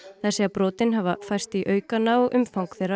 þær segja brotin hafa færst í aukana og umfang þeirra